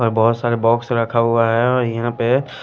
और बहुत सारे बॉक्स रखा हुआ हैऔर यहां पे--